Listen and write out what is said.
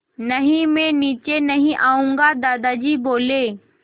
नहीं मैं नीचे नहीं आऊँगा दादाजी बोले